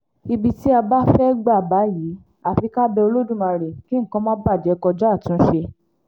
ibi tí a bá fẹ́ẹ́ gbà báyìí àfi ká bẹ olódùmarè kí nǹkan má bàjẹ́ kọjá àtúnṣe